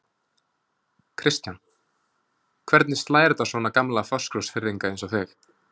Kristján: Hvernig slær þetta svona gamla Fáskrúðsfirðinga eins og þig?